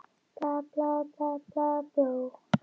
Til að sæta ekki niðurlægingu.